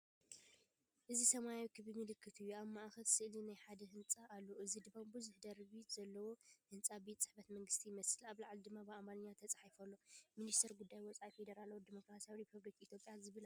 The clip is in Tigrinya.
እዚ ሰማያዊ ክቢ ምልክት እዩ። ኣብ ማእከል ስእሊ ናይ ሓደ ህንጻ ኣሎ፣ እዚ ድማ ብዙሕ ደርቢ ዘለዎ ህንጻ ቤት ጽሕፈት መንግስቲ ይመስል። ኣብ ላዕሊ ድማ ብኣምሓርኛ ተጻሒፉ ኣሎ፤ “ሚኒስትሪ ጉዳያት ወጻኢ ፈደራላዊት ዲሞክራስያዊት ሪፓብሊክ ኢትዮጵያ”ዝብል ኣሎ።